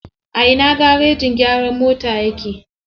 A ina garejin gyaran motan yake?